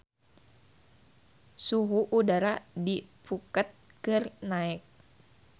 Suhu udara di Phuket keur naek